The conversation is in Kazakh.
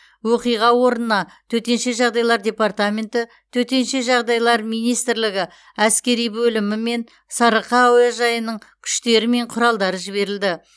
оқиға орнына төтенше жағдайлар департаменті төтенше жағдайлар министрлігі әскери бөлімі мен сарыарқа әуежайының күштері мен құралдары жіберілді